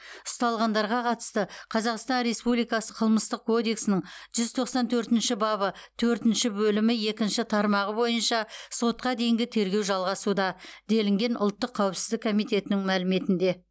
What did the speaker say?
ұсталғандарға қатысты қазақстан республикасы қылмыстық кодексінің жүз тоқсан төртінші бабы төртінші бөлімі екінші тармағы бойынша сотқа дейінгі тергеу жалғасуда делінген ұлттық қауіпсіздік комитетінің мәліметінде